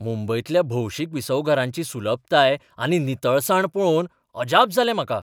मुंबयंतल्या भौशीक विसवघरांची सुलभताय आनी नितळसाण पळोवन अजाप जालें म्हाका.